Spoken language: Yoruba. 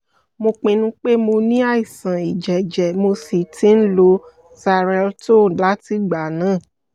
mo pinnu pé mo ní àìsàn ìjẹ́jẹ́ mo sì ti ń lo cs] xarelto látìgbà náà